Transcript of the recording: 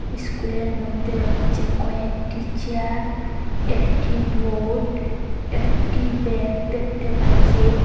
স্কুলের মইদ্যে রয়েচে কয়েকটি চেয়ার একটি বোর্ড একটি ব্যাগ দেখতে পাচ্চি।